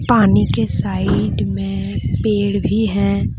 पानी के साइड में पेड़ भी है।